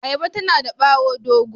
Ayaba tana da bawo dogo.